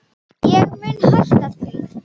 En ég mun hætta því.